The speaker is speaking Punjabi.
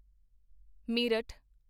ਮੇਰਠ